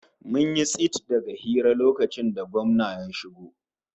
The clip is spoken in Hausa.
Mun yi tsit daga hira lokacin da gwamna ya shigo